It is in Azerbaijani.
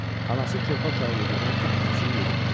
Anası körpə uşağı yedirdən kimi Nəsiri yedirtdi.